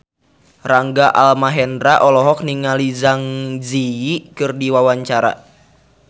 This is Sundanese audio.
Rangga Almahendra olohok ningali Zang Zi Yi keur diwawancara